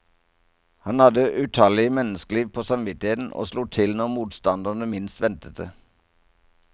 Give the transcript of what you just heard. Han hadde utallige menneskeliv på samvittigheten og slo til når motstanderne minst ventet det.